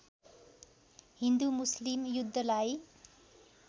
हिन्दु मुस्लिम युद्धलाई